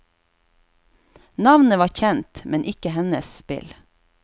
Navnet var kjent, men ikke hennes spill.